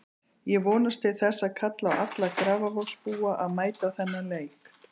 Ég vonast til þess og kalla á alla Grafarvogsbúa að mæta á þennan leik.